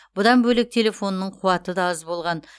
бұдан бөлек телефонының қуаты да аз болған